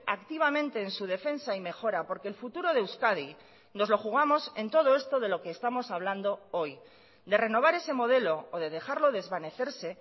activamente en su defensa y mejora porque el futuro de euskadi nos lo jugamos en todo esto de lo que estamos hablando hoy de renovar ese modelo o de dejarlo desvanecerse